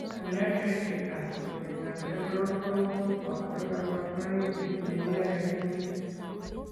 Kanyoisoshekab koroitoab Central Core ko beote kabarunoik chetinye chi age tugul.